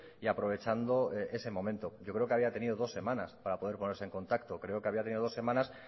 y aprovechando ese momento yo creo que había tenido dos semanas para poder ponerse en contacto creo que había tenido dos semanas